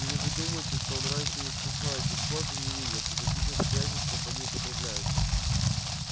или вы думаете что он раньше не слыхал этих слов и не видел при каких обстоятельствах они употребляются